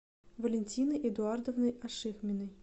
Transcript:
валентиной эдуардовной ашихминой